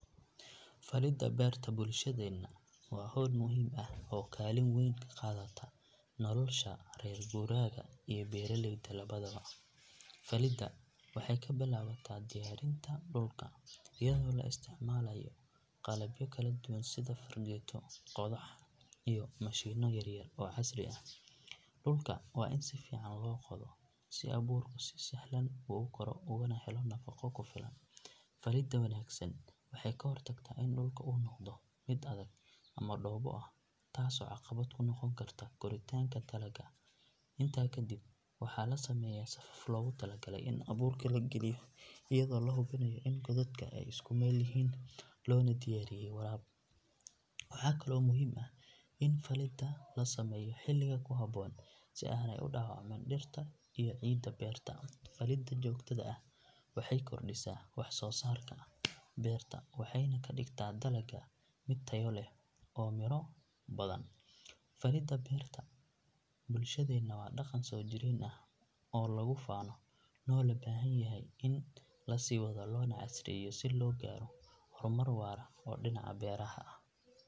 Falidda beerta bulshadeena waa hawl muhiim ah oo kaalin weyn ka qaadata nolosha reer guuraaga iyo beeralayda labadaba. Falidda waxay ka bilaabataa diyaarinta dhulka iyadoo la isticmaalayo qalabyo kala duwan sida fargeeto, qodax iyo mashiinno yar yar oo casri ah. Dhulka waa in si fiican loo qodo si abuurku si sahlan ugu koro uguna helo nafaqo ku filan. Falidda wanaagsan waxay ka hortagtaa in dhulka uu noqdo mid adag ama dhoobo ah taasoo caqabad ku noqon karta koritaanka dalagga. Intaa kadib waxaa la sameeyaa safaf loogu talagalay in abuurka la geliyo iyadoo la hubinayo in godadka ay isku meel yihiin loona diyaariyay waraab. Waxaa kaloo muhiim ah in falidda la sameeyo xilliga ku habboon si aanay u dhaawacmin dhirta iyo ciidda beerta. Falidda joogtada ah waxay kordhisaa wax soo saarka beerta waxayna ka dhigtaa dalagga mid tayo leh oo miro badan. Falidda beerta bulshadeena waa dhaqan soo jireen ah oo lagu faano loona baahan yahay in la sii wado loona casriyeeyo si loo gaaro horumar waara oo dhinaca beeraha ah.